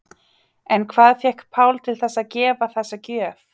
En hvað fékk Pál til þess að gefa þessa gjöf?